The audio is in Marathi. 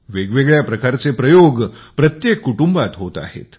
वेगवेगळ्या प्रकारचे प्रयोग प्रत्येक कुटुंबात होत आहेत